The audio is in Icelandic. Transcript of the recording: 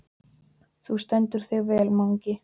Þú stendur þig vel, Mangi!